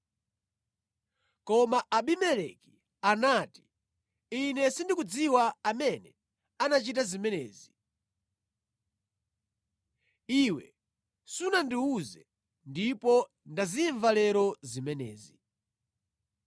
Koma Abimeleki anati, “Ine sindikudziwa amene anachita zimenezi. Iwe sunandiwuze, ndipo ndazimva lero zimenezi.”